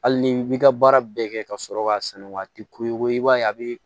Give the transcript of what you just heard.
Hali ni i bi ka baara bɛɛ kɛ ka sɔrɔ k'a sɛnɛ waati ko i ko ko i b'a ye a bi